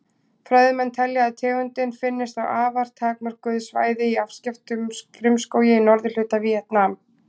Fræðimenn telja að tegundin finnist á afar takmörkuðu svæði í afskekktum frumskógi í norðurhluta Víetnam.